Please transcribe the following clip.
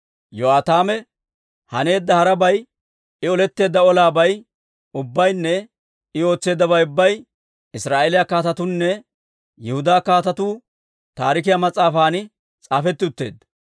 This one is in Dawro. Yo'aataame haneedda harabay, I oletteedda olaabay ubbaynne I ootseeddabay ubbay Israa'eeliyaa Kaatetuunne Yihudaa Kaatetuu Taarikiyaa mas'aafan s'aafetti utteedda.